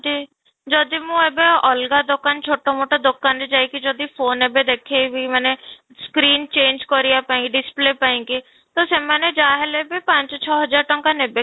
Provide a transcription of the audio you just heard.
ଦି ଯଦି ମୁଁ ଏବେ ଅଲଗା ଦୋକାନ ଛୋଟ ମୋଟ ଦୋକାନରେ ଯାଇକି ଯଦି ଫୋନେ ଏବେ ଦେଖେଇବି ମାନେ screen change କରିବା ପାଇଁ କି display ପାଇଁ କି ତ ସେମାନେ ଯାହା ହେଲେ ବି ପାଞ୍ଚ ଛଅ ହଜାର ଟଙ୍କା ନେବେ